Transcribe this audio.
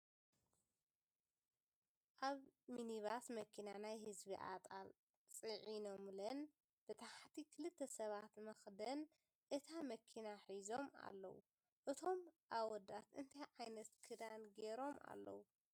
ኣብ ሚኒባስ መኪና ናይ ህዝቢ ኣጣል ሺዒኖምለን ብታሕቲ ክልተ ሰባት መክደን እታ መኪና ሒዞም ኣለዉ። እቶም ኣወዳት እንታይ ዓይነት ክዳን ጌሮም ኣለዉ?